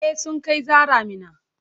E, sun kai Zahra Minna.